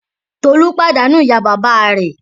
Tolú pàdánù ìyá-bàbá rẹ̀.